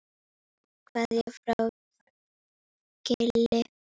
Kveðja frá Gili.